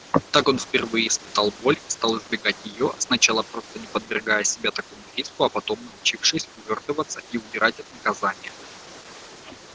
так он впервые испытал боль и стал избегать её сначала просто не подвергая себя такому риску а потом научившись увёртываться и удирать от наказания